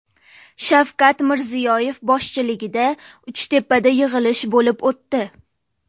Shavkat Mirziyoyev boshchiligida Uchtepada yig‘ilish bo‘lib o‘tdi.